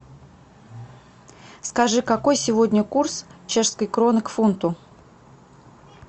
скажи какой сегодня курс чешской кроны к фунту